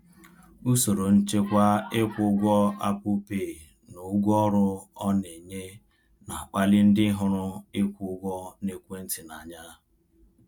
Usoro nchekwa ịkwụ ụgwọ Apple Pay na ụgwọ ọrụ ọ na-enye na-akpali ndị hụrụ ịkwụ ụgwọ n’ekwentị n’anya.